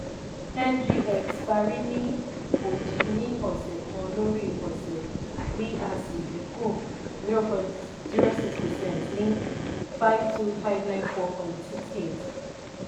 ngx parí ní òdì ní ọsẹ̀ kan lórí ọsẹ̀ bí asi dínkù zero point zero six percent ní fifty two thousand five hundred ninety four point six eight.